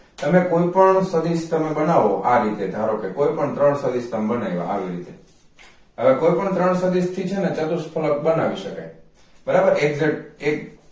તમે કોઈ પણ સદિશ બનાવો આ રીતે ધારોકે કોઈ પણ ત્રણ સદિશ બનાવ્યા હાલો ઈ રીતે હવે કોઈ પણ ત્રણ સદિશથી છે ને ચતુઃ સ્થળક બનાવી શકાય બરાબર exact એક